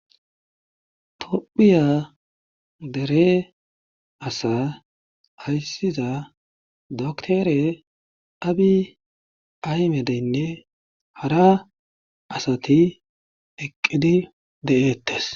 tophiya dere asa ayssiza dokterabiy aymedeynne hara asati eqqidi de7eettes